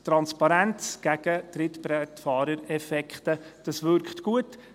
Transparenz gegen Trittbrettfahrereffekte – das wirkt gut.